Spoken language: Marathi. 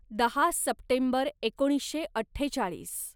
दहा सप्टेंबर एकोणीसशे अठ्ठेचाळीस